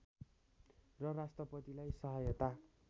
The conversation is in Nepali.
र राष्‍ट्रपतिलाई सहायता